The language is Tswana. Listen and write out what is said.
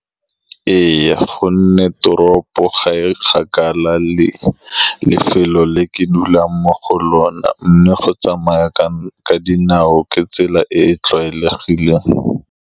Ee, ka gonne teropo ga e kgakala le lefelo le ke dulang mo go lone, mme go tsamaya ka dinao ke tsela e e tlwaelegileng.